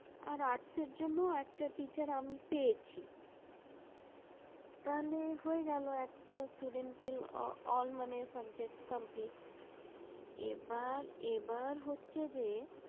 আর art এর জন্য একটা teacher আমি পেয়েছি। তাহলে হয়ে গেলো একটা student এর all মানে subject complete । এবার এবার হচ্ছে যে